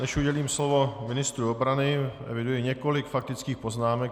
Než udělím slovo ministru obrany, eviduji několik faktických poznámek.